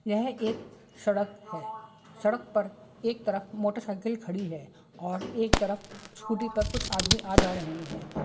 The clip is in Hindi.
यह एक सड़क है सड़क पर एक तरफ मोटरसाइकील खड़ी है और एक तरफ स्कूटी पर कुछ आदमी आ जा रहे है।